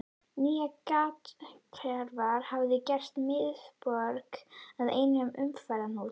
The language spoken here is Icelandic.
Nýja gatnakerfið hafði gert miðborgina að einum umferðarhnút.